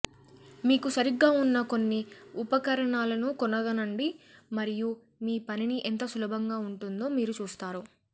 మీకు సరిగ్గా ఉన్న కొన్ని ఉపకరణాలను కనుగొనండి మరియు మీ పనిని ఎంత సులభంగా ఉంటుందో మీరు చూస్తారు